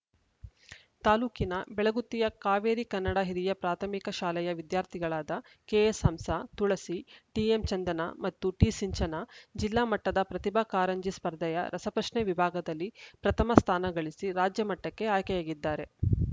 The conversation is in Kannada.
ತಾಲೂಕಿನ ಬೆಳಗುತ್ತಿಯ ಕಾವೇರಿ ಕನ್ನಡ ಹಿರಿಯ ಪ್ರಾಥಮಿಕ ಶಾಲೆಯ ವಿದ್ಯಾರ್ಥಿಗಳಾದ ಕೆಎಸ್‌ಹಂಸ ತುಳಸಿ ಟಿಎಂಚಂದನಾ ಮತ್ತು ಟಿಸಿಂಚನಾ ಜಿಲ್ಲಾ ಮಟ್ಟದ ಪ್ರತಿಭಾ ಕಾರಂಜಿ ಸ್ಪರ್ಧೆಯ ರಸಪ್ರಶ್ನೆ ವಿಭಾಗದಲ್ಲಿ ಪ್ರಥಮ ಸ್ಥಾನಗಳಿಸಿ ರಾಜ್ಯಮಟ್ಟಕ್ಕೆ ಆಯ್ಕೆಯಾಗಿದ್ದಾರೆ